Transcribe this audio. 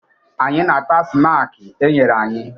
Anyị na-ata snaakị e nyere anyị